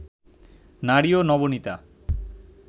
নারী ও নবনীতা